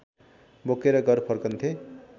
बोकेर घर फर्कन्थे